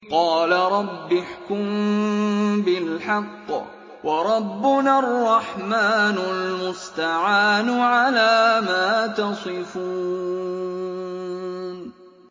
قَالَ رَبِّ احْكُم بِالْحَقِّ ۗ وَرَبُّنَا الرَّحْمَٰنُ الْمُسْتَعَانُ عَلَىٰ مَا تَصِفُونَ